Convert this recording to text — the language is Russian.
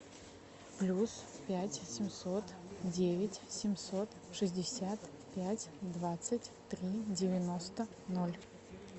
плюс пять семьсот девять семьсот шестьдесят пять двадцать три девяносто ноль